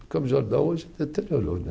Campos do Jordão hoje deteriorou, né?